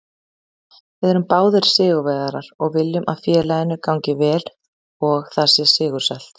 Við erum báðir sigurvegarar og viljum að félaginu gangi vel og það sé sigursælt.